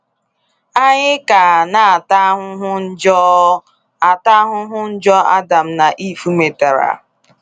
Anyị ka na ata ahụhụ njọ ata ahụhụ njọ Adam na Eve metara.